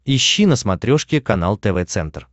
ищи на смотрешке канал тв центр